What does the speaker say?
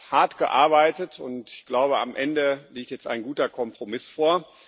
Er hat hart gearbeitet, und ich glaube, am Ende liegt jetzt ein guter Kompromiss vor.